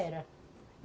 Era.